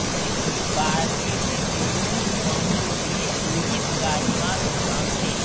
बाडे में तुरुंग पंगुगृह पुलिस का निवासस्थान थे